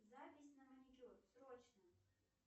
запись на маникюр срочно